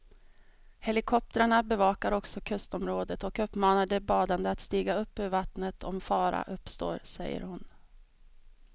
Helikoptrarna bevakar också kustområdet och uppmanar de badande att stiga upp ur vattnet om fara uppstår, säger hon.